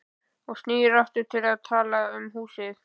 Og snýr aftur að því að tala um húsið.